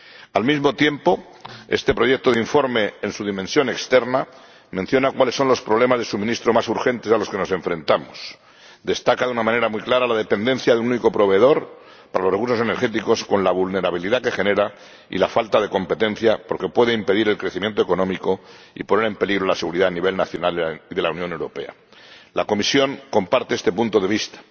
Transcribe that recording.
Al mismo tiempo, este proyecto de informe, en su dimensión externa, menciona cuáles son los problemas de suministro más urgentes a los que nos enfrentamos y destaca de una manera muy clara la dependencia de un único proveedor para los recursos energéticos, con la vulnerabilidad que ello genera y la falta de competencia, porque puede impedir el crecimiento económico y poner en peligro la seguridad a nivel nacional de la Unión Europea. La Comisión comparte este punto de vista.